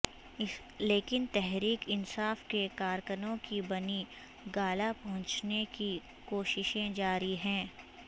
لیکن تحریک انصاف کے کارکنوں کی بنی گالہ پہنچنے کی کوششیں جاری ہیں